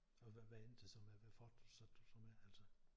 Og hvad endte det så med hvad fortsatte du så med altså?